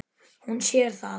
Hún sér það.